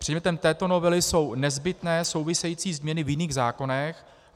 Předmětem této novely jsou nezbytné související změny v jiných zákonech.